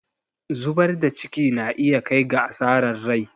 zubar da ciki na iya kai ga asarar rai